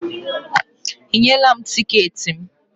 Ị nyela m tiketi m?